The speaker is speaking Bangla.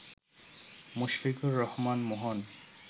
মুশফিকুর রহমান মোহন